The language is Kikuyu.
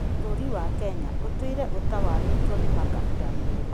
Bũrũri wa Kenya ũtũire ũtawarĩtwo nĩ makabira merĩ